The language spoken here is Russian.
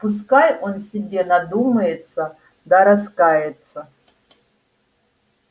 пускай он себе надумается да раскается